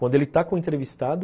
Quando ele está com o entrevistado,